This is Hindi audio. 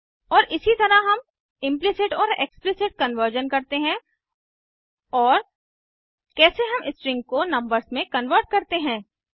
और इसी तरह हम इम्प्लिसिट और एक्सप्लिसिट कन्वर्जन करते हैं और कैसे हम स्ट्रिंग को नंबर्स में कन्वर्ट करते हैं